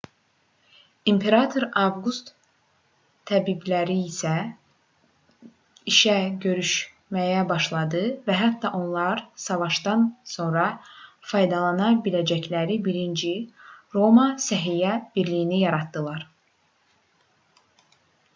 i̇mperator avqust təbibləri işə götürməyə başladı və hətta onlar savaşdan sonra faydalana biləcəkləri birinci roma səhiyyə birliyini yaratdılar